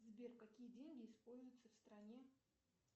сбер какие деньги используются в стране